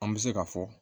An bɛ se ka fɔ